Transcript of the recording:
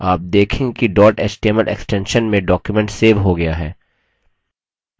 आप देखेंगे कि dot html extension में document सेव हो गया है